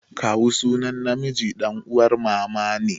Kawu sunan namiji ɗanuwar Mama ne.